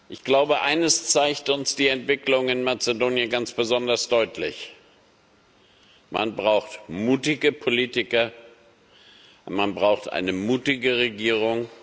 Ich glaube, eines zeigt uns die Entwicklung in Mazedonien ganz besonders deutlich Man braucht mutige Politiker, und man braucht eine mutige Regierung.